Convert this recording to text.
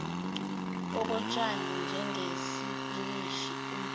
okotshani njengesipinashi umbido